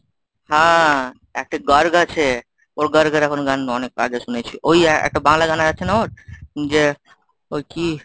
হ্যাঁ একটা গার্গ আছে, ওর গার্গের এখন গান অনেক আগে শুনেছি। ওই একটা বাংলা গান আছে না ওর, যে ওই কি